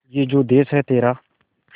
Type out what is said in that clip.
ये जो देस है तेरा